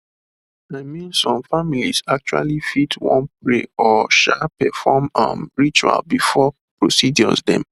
i mean some families actually fit wan pray or um perform um rituals before procedures dem